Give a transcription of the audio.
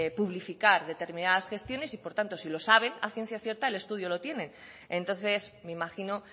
publificar determinadas gestiones y por lo tanto si lo saben a ciencia cierta el estudio lo tienen entonces me imagino